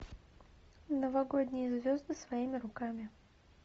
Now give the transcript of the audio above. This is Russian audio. новогодние звезды своими руками